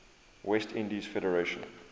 west indies federation